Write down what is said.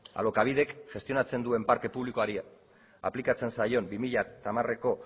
alokabidek gestionatzen duen parke publikoari aplikatzen zaion bi mila hamareko